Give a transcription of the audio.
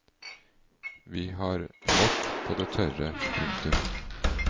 Vi har vårt på det tørre. punktum